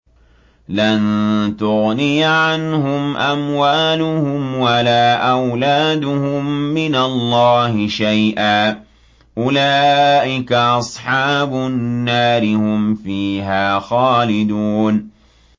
لَّن تُغْنِيَ عَنْهُمْ أَمْوَالُهُمْ وَلَا أَوْلَادُهُم مِّنَ اللَّهِ شَيْئًا ۚ أُولَٰئِكَ أَصْحَابُ النَّارِ ۖ هُمْ فِيهَا خَالِدُونَ